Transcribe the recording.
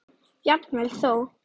Jafnvel þó